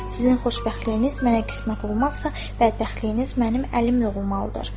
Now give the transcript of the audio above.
Sizin xoşbəxtliyiniz mənə qismət olmazsa, bədbəxtliyiniz mənim əlimdə olmalıdır.